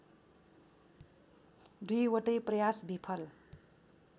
दुईवटै प्रयास विफल